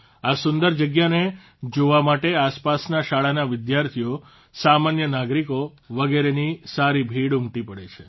આ સુંદર જગ્યાને જોવા માટે આસપાસના શાળાના વિદ્યાર્થીઓ સામાન્ય નાગરિકો વગેરેની સારી ભીડ ઉમટી પડે છે